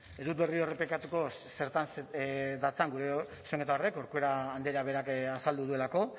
ez dut berriro errepikatuko zertan datzan gure zuzenketa horrek corcuera andreak berak azaldu duelako